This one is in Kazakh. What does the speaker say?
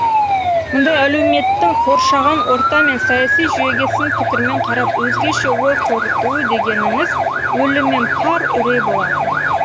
мұндай әлеуметтің қоршаған орта мен саяси жүйеге сын пікірмен қарап өзгеше ой қорытуы дегеніңіз өліммен пар үрей болатын